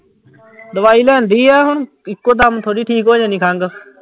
ਦਵਾਈ ਲਿਆਂਦੀ ਆ ਹੁਣ ਇੱਕੋ ਦਮ ਥੋੜ੍ਹੀ ਠੀਕ ਹੋ ਜਾਂਦੀ ਖੰਘ।